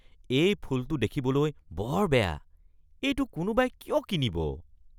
এই ফুলটো দেখিবলৈ বৰ বেয়া। এইটো কোনোবাই কিয় কিনিব?